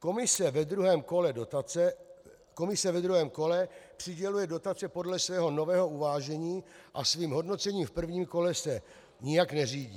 Komise ve druhém kole přiděluje dotace podle svého nového uvážení a svým hodnocením v prvním kole se nijak neřídí.